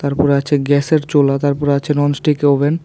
উপরে আছে গ্যাসের চুলা তারপর আছে ননস্টিক ওভেন।